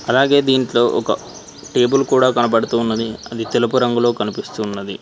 అలాగే దీంట్లో ఒక టేబుల్ కూడా కనబడుతూ ఉన్నది అది తెలుపు రంగులో కనిపిస్తూవున్నది.